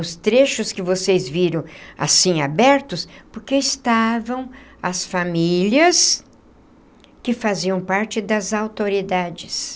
Os trechos que vocês viram... assim, abertos... porque estavam as famílias... que faziam parte das autoridades.